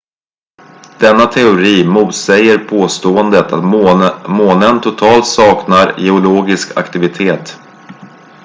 denna teori motsäger påståendet att månen totalt saknar geologisk aktivitet